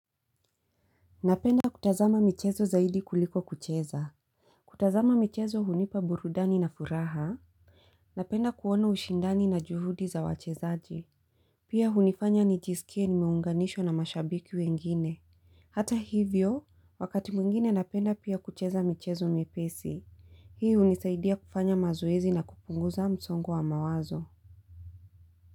Napenda kutazama michezo zaidi kuliko kucheza. Kutazama michezo hunipa burudani na furaha. Napenda kuona ushindani na juhudi za wachezaji. Pia hunifanya nijisikie nimeunganishwa na mashabiki wengine hata hivyo wakati mwingine napenda pia kucheza michezo myepesi hii hunisaidia kufanya mazoezi na kupunguza msongo wa mawazo.